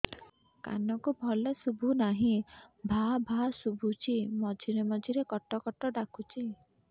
କାନକୁ ଭଲ ଶୁଭୁ ନାହିଁ ଭାଆ ଭାଆ ଶୁଭୁଚି ମଝିରେ ମଝିରେ କଟ କଟ ଡାକୁଚି